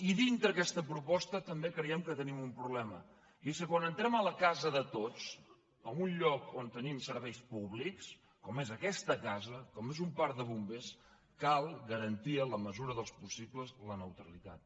i dintre d’aquesta proposta també creiem que tenim un problema i és que quan entrem a la casa de tots en un lloc on tenim serveis públics com és aquesta casa com és un parc de bombers cal garantir en la mesura del possible la neutralitat